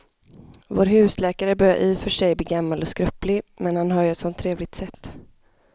Vår husläkare börjar i och för sig bli gammal och skröplig, men han har ju ett sådant trevligt sätt!